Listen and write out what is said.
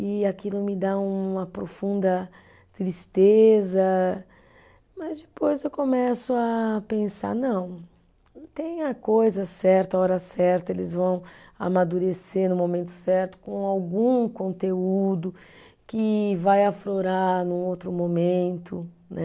E aquilo me dá uma profunda tristeza, mas depois eu começo a pensar, não, tem a coisa certa, a hora certa, eles vão amadurecer no momento certo com algum conteúdo que vai aflorar num outro momento, né?